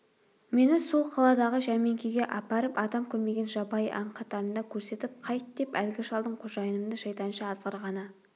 мені сол қаладағы жәрмеңкеге апарып адам көрмеген жабайы аң қатарында көрсетіп қайт деп әлгі шалдың қожайынымды шайтанша азғырғаны